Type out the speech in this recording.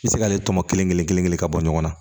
I bɛ se k'ale tɔmɔ kelen kelen kelen kelen ka bɔ ɲɔgɔn na